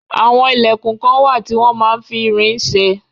Àwọn ilẹkun kán wà tí wón máa ń fi irin ṣe.